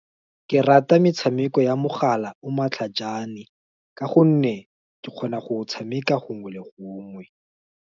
Ke rata metshameko ya mogala o matlhaajane, ka gonne, ke kgona go tshameka gongwe le gongwe.